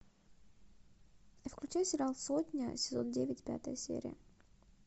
включи сериал сотня сезон девять пятая серия